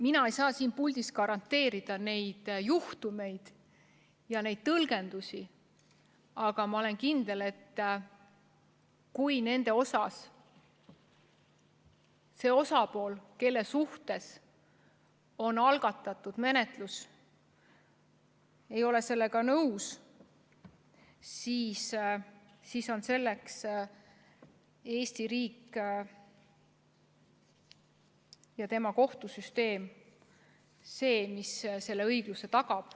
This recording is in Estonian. Mina ei saa siin puldis garanteerida neid juhtumeid ja tõlgendusi, aga ma olen kindel, et kui osapool, kelle suhtes on algatatud menetlus, ei ole sellega nõus, siis on Eesti riigi kohtusüsteem see, mis õigluse tagab.